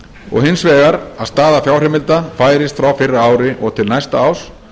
og hins vegar að staða fjárheimilda færist frá fyrra ári og til næsta árs